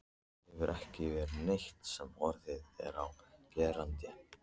Það hefur ekki verið neitt sem orð er á gerandi.